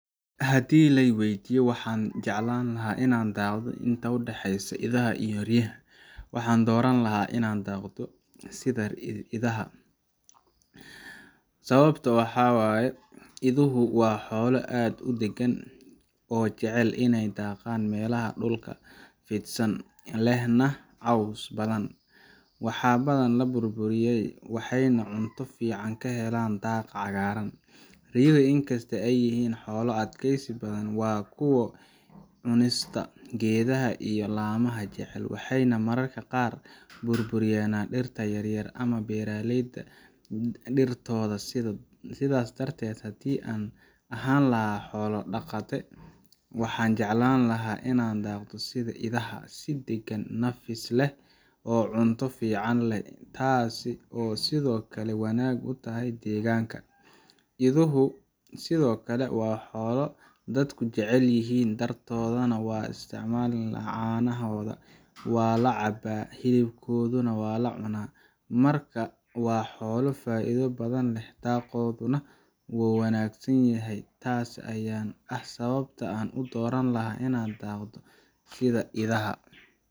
Haddii la i waydiiyo waxa aan jeclaan lahaa inaan daaqo inta u dhexeysa idaha iyo riyaha, waxaan dooran lahaa inaan daaqo sida idaha. Sababtu waxa ay tahay, iduhu waa xoolo aad u deggan oo jecel iney ku daaqaan meelaha dhulka fidsan leh caws badan, wax badan ma burburiyaan, waxayna cunto fiican ka helaan daaqa cagaaran. Riyuhu, in kastoo ay yihiin xoolo adkaysi badan, waa kuwo cunista geedaha iyo laamaha jecel, waxayna mararka qaar burburiyaan dhirta yaryar ama beeralayda dhirtooda. Sidaa darteed, haddii aan ahaan lahaa xoolo daqate waxaan jeclaan lahaa inaan daaqo sida idaha si deggan, nafis leh, oo cunto fiican leh taas oo sidoo kale wanaag u tahay deegaanka. Iduhu sidoo kale waa xoolo dadku jecel yihiin, dhogortooda waa la isticmaalaa, caanahooda waa la cabbaa, hilibkoodana waa la cunaa. Marka waa xoolo faa’iido badan leh, dhaqaalahooduna waa wanaagsan yahay. Taas ayaana ah sababta aan u dooran lahaa inaan daaqo sida idaha.